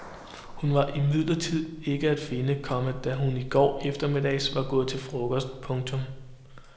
Hun var imidlertid ikke at finde, komma da hun i går eftermiddags var gået til frokost. punktum